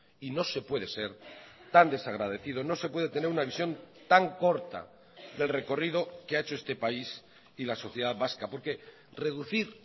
y no se puede ser tan desagradecido no se puede tener una visión tan corta del recorrido que ha hecho este país y la sociedad vasca porque reducir